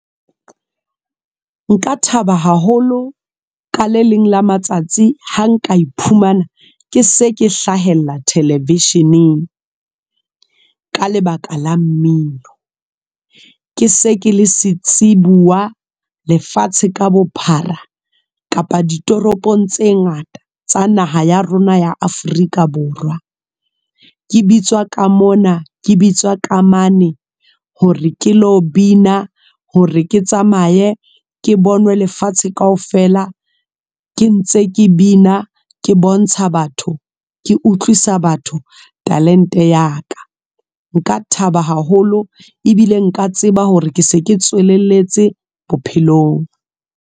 Nka thaba haholo ka le leng la matsatsi ha nka iphumana ke se ke hlahella thelevisheneng ka lebaka la mmino.Ke se ke le setsibuwa lefatshe ka bophara kapa ditoropong tse ngata tsa naha ya rona ya Afrika Borwa. Ke bitswa ka mona, ke bitswa ka mane hore ke lo bina hore ke tsamaye ke bonwe lefatshe kaofela, ke ntse ke bina ke bontsha batho, ke utlwisa batho talente ya ka. Nka thaba haholo ebile nka tseba hore ke se ke tsweleletse bophelong.